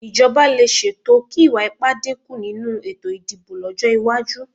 Ìjọba lè ṣètò kí ìwà ipá dínkù nínú ètò ìdìbò lọ́jọ́ iwájú